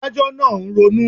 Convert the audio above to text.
Adájọ́ náà ń ronú